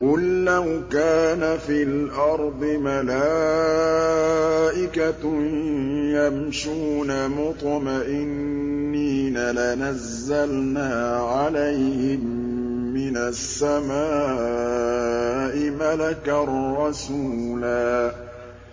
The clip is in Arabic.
قُل لَّوْ كَانَ فِي الْأَرْضِ مَلَائِكَةٌ يَمْشُونَ مُطْمَئِنِّينَ لَنَزَّلْنَا عَلَيْهِم مِّنَ السَّمَاءِ مَلَكًا رَّسُولًا